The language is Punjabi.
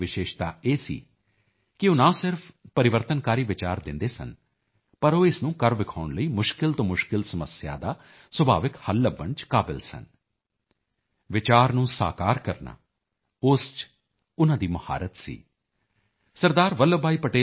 ਵੱਲਭ ਭਾਈ ਪਟੇਲ ਦੀ ਵਿਸ਼ੇਸ਼ਤਾ ਇਹ ਸੀ ਕਿ ਉਹ ਨਾ ਸਿਰਫ ਪਰਿਵਰਤਨਕਾਰੀ ਵਿਚਾਰ ਦਿੰਦੇ ਸਨ ਪਰ ਉਹ ਇਸ ਨੂੰ ਕਰ ਵਿਖਾਉਣ ਲਈ ਮੁਸ਼ਕਿਲ ਤੋਂ ਮੁਸ਼ਕਿਲ ਸਮੱਸਿਆ ਦਾ ਸੁਭਾਵਿਕ ਹੱਲ ਲੱਭਣ ਚ ਕਾਬਲ ਸਨ ਵਿਚਾਰ ਨੂੰ ਸਾਕਾਰ ਕਰਨਾ ਉਸ ਚ ਉਨ੍ਹਾਂ ਦੀ ਮੁਹਾਰਤ ਸੀ ਸ